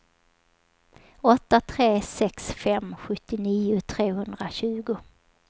åtta tre sex fem sjuttionio trehundratjugo